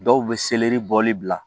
Dɔw bɛ selɛri bɔli bila